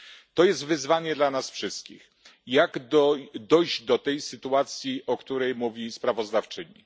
To jest wyzwanie dla nas wszystkich, jak dojść do tej sytuacji, o której mówi sprawozdawczyni?